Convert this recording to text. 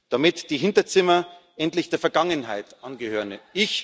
damit die Hinterzimmer endlich der Vergangenheit angehören.